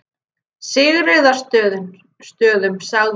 Sigríðarstöðum, sagði hún lágt.